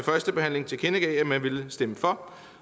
første behandling tilkendegav at man ville stemme for